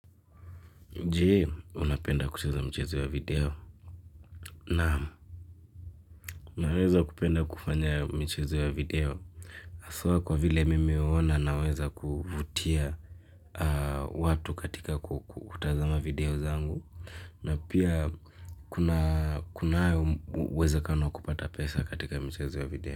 Je, unapenda kucheza mchezo ya video naam naweza kupenda kufanya michezo ya video hasa kwa vile mimi huona naweza kuvutia watu katika kutazama video zangu na pia kunao uwezakano kupata pesa katika michezo ya video.